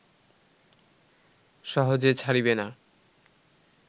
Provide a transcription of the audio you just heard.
সহজে ছাড়িবে না